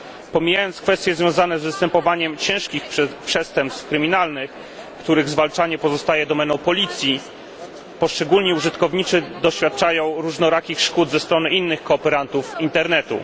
Pomijając kwestie związane z występowaniem ciężkich przestępstw kryminalnych, których zwalczanie pozostaje domeną policji, poszczególni użytkownicy doświadczają różnorakich szkód ze strony innych kooperantów internetu.